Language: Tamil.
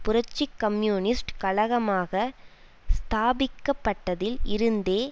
புரட்சி கம்யூனிஸ்ட் கழகமாக ஸ்தாபிக்கப்பட்டதில் இருந்தே